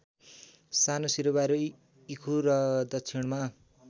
सानुसिरुबारी इर्खु र दक्षिणमा